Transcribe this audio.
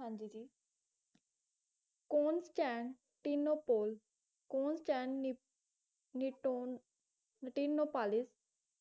ਹਾਂ ਜੀ ਜੀ ਕੌਂਸਟੈਂਟ ਟਿਨੋਪੋਲ ਕੋਂਸਟੈਂਟਨੀ ਟੋਨ ਨਿਟੀਨੋਪਾਲਿਸ